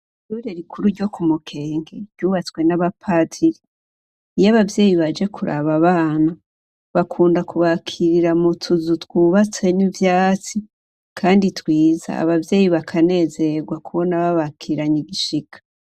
Ishure rikuru ryo ku Mukenge, ryubatswe n'abapatiri. Iyo abavyeyi baje kuraba abana, bakunda kubakirira mutuzu twubatse n'ivyatsi kandi twiza, abavyeyi bakanezerwa kubona babakiranye igishika.